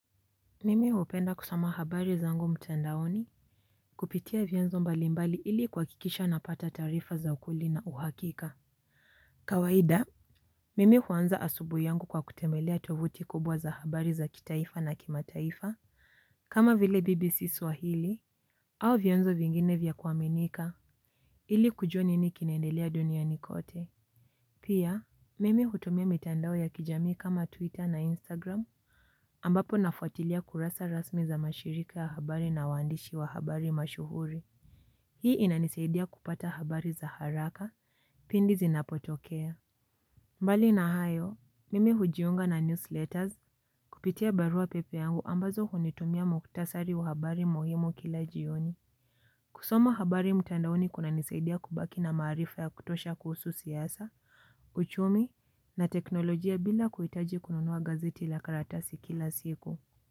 Mimi hupenda kusoma habari zangu mtandaoni. Kupitia vyanzo mbalimbali ili kuhakikisha napata taarifa za ukweli na uhakika. Kawaida. Mimi huanza asubuhi yangu kwa kutembelea tovuti kubwa za habari za kitaifa na kimataifa. Kama vile BBC swahili. Au vyanzo vingine vya kuaminika. Ili kujua nini kinaendelea duniani kote. Pia. Mimi hutumia mitandao ya kijami kama Twitter na Instagram. Ambapo nafuatilia kurasa rasmi za mashirika ya habari na waandishi wa habari mashuhuri. Hii inanisaidia kupata habari za haraka pindi zinapotokea. Mbali na hayo, mimi hujiunga na newsletters kupitia barua pepe yangu ambazo hunitumia muktasari wa habari muhimu kila jioni. Kusoma habari mtandaoni kunanisaidia kubaki na maarifa ya kutosha kuhusu siasa, uchumi na teknolojia bila kuhitaji kununua gazeti la karatasi kila siku. Kwa hivyo.